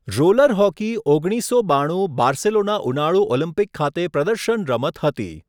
Roller hockey ઓગણીસસો બાણું Barcelona ઉનાળુ ઓલિમ્પિક ખાતે પ્રદર્શન રમત હતી.